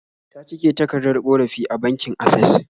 Ta cike takardar ƙorafi a bankin Asses